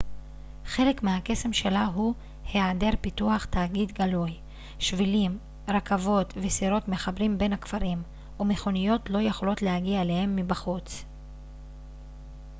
חלק מהקסם שלה הוא היעדר פיתוח תאגידי גלוי שבילים רכבות וסירות מחברים בין הכפרים ומכוניות לא יכולות להגיע אליהם מבחוץ